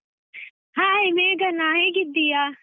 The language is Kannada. Hai ಮೇಘನಾ ಹೇಗಿದ್ದೀಯಾ?